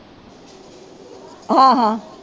ਹਾਂ ਹਾਂ